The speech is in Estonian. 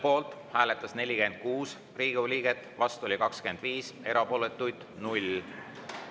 Poolt hääletas 46 Riigikogu liiget, vastu oli 25, erapooletuid 0.